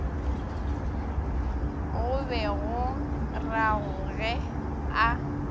go be go ragore a